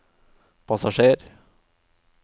passasjer